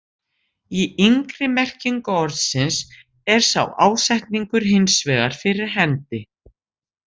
Í yngri merkingu orðsins er sá ásetningur hins vegar fyrir hendi.